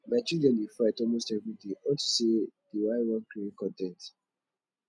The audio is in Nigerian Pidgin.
my children dey fight almost everyday unto say dey y wan create con ten t